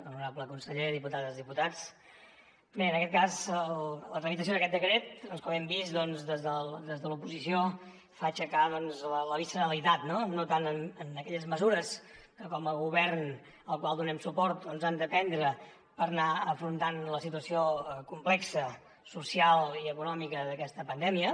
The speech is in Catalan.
honorable conseller diputades i diputats bé en aquest cas la tramitació d’aquest decret com hem vist des de l’oposició fa aixecar la visceralitat no no tant en aquelles mesures que com a govern al qual donem suport doncs han de prendre per anar afrontant la situació complexa social i econòmica d’aquesta pandèmia